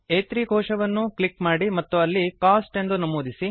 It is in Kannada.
ಆ3 ಕೋಶವನ್ನು ಕ್ಲಿಕ್ ಮಾಡಿ ಮತ್ತು ಅಲ್ಲಿ ಕೋಸ್ಟ್ ಎಂದು ನಮೂದಿಸಿ